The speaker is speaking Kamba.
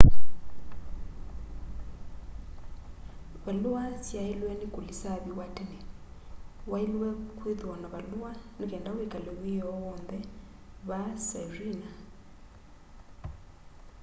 valua syailwe ni kulisaviwa tene wailwe ni kwithwa na valua ni kenda wikale wiyoo wonthe vaa sirena